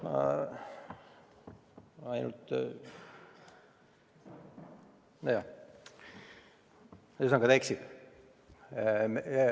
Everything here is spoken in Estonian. Ma ainult, nojah, ühesõnaga, ta eksib.